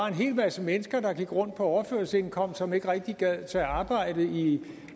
en hel masse mennesker der går rundt på overførselsindkomst og som ikke rigtig gider tage arbejde i